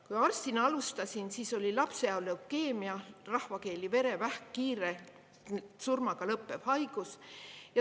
Kui arstina alustasin, siis oli lapseea leukeemia, rahvakeeli verevähk, kiire surmaga lõppev haigus.